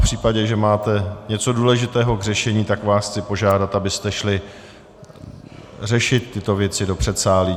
V případě, že máte něco důležitého k řešení, tak vás chci požádat, abyste šli řešit tyto věci do předsálí.